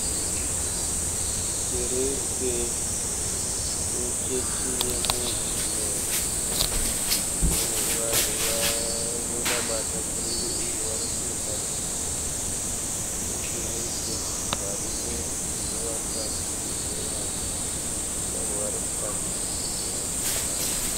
Kereke yechechi ye Mozilemu ine vanhu vanonamata kereke iyi varikuenda mukereke varume nevakadzi nevana. Vamwe varimukati vamwe vachiri panze.